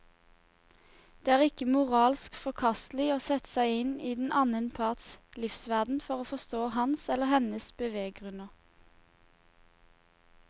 Det er ikke moralsk forkastelig å sette seg inn i den annen parts livsverden for å forstå hans eller hennes beveggrunner.